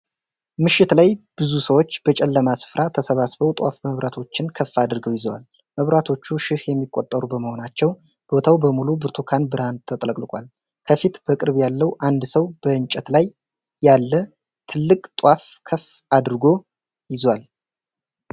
ምሽት ላይ ብዙ ሰዎች በጨለማ ስፍራ ተሰብስበው ጧፍ መብራቶችን ከፍ አድርገው ይዘዋል። መብራቶቹ ሺህ የሚቆጠሩ በመሆናቸው ቦታው በሙሉ በብርቱካን ብርሃን ተጥለቅልቋል። ከፊት ፣ በቅርብ ያለው አንድ ሰው በእንጨት ላይ ያለ ትልቅ ጧፍ ከፍ አድርጎ ይዟል።